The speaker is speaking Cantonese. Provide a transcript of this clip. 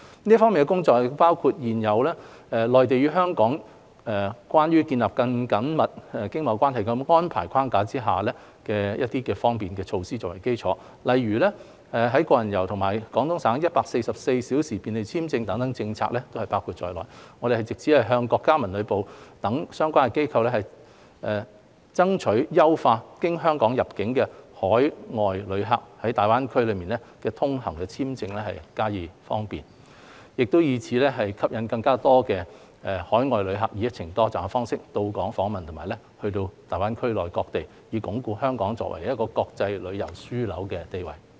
這方面的工作包括以現有《內地與香港關於建立更緊密經貿關係的安排》框架下各項便利措施為基礎，例如"個人遊"及廣東省 "144 小時便利簽證"政策等也包括在內。我們藉此向國家文旅部等相關機構，爭取優化經香港入境的海外旅客在大灣區內通行簽證的方便，以吸引更多海外旅客以"一程多站"方式到訪香港及大灣區內各地，以鞏固香港作為國際旅遊樞紐的地位。